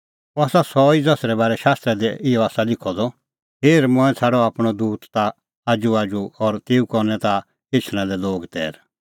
अह आसा सह ई ज़सरै बारै शास्त्रा दी इहअ आसा लिखअ द हेर मंऐं छ़ाडअ आपणअ दूत ताखा आजूआजू और तेऊ करनै ताह एछणा लै लोग तैर